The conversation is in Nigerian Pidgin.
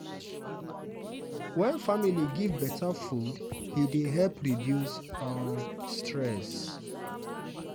wen family give better food e dey help reduce um stress.